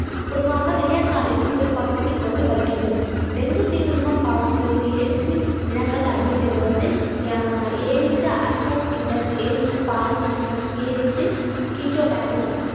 பொதுவாக விடியற்காலிலும் பிற்பகலும் இக்கொசு கடிக்கின்றது டெங்கு தீநுண்மம் காவும் வேறு ADC இனங்கள் அப்படிங்கறது வந்து அஹ் ADC ADC ADC கீட்டோலரிட்